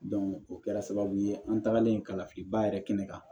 o kɛra sababu ye an tagalen kalan filiba yɛrɛ kɛnɛ kan